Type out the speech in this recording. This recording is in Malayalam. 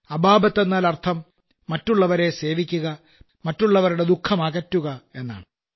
അബാബത്ത് എന്നാലർത്ഥം മറ്റുള്ളവരെ സേവിക്കുക മറ്റുള്ളവരുടെ ദുഖമകറ്റുക എന്നാണ്